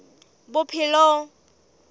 bophelong